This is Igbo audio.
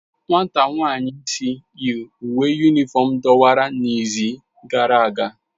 Nwata nwanyị isi yi uwe yunifọm dọwara n'izi gara aga